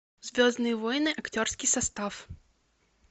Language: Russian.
звездные войны актерский состав